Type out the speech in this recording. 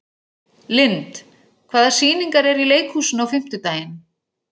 Lynd, hvaða sýningar eru í leikhúsinu á fimmtudaginn?